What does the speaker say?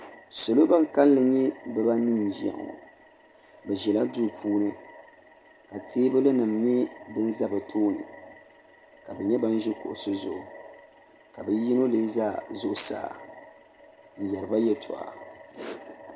salo ban kalinli nyɛ bibaa anɛi n-ʒiya bɛ ʒila duu puuni ka teebuli nima nyɛ din za bɛ tooni ka bɛ nyɛ ban ʒi kuɣisi zuɣu ka bɛ yino leei za zuɣusaa n-yɛri ba yɛltɔɣa.